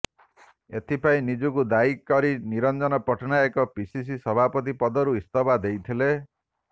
ଏଥିପାଇଁ ନିଜକୁ ଦାୟୀ କରି ନିରଞ୍ଜନ ପଟ୍ଟନାୟକ ପିସିସି ସଭାପତି ପଦରୁ ଇସ୍ତଫା ଦେଇଥିଲେ